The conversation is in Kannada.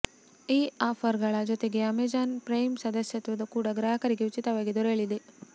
ಈ ಆಫರ್ಗಳ ಜೊತೆಗೆ ಅಮೆಜಾನ್ ಪ್ರೈಮ್ ಸದಸ್ಯತ್ವ ಕೂಡ ಗ್ರಾಹಕರಿಗೆ ಉಚಿತವಾಗಿ ದೊರೆಯಲಿದೆ